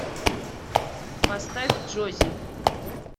поставь джоззи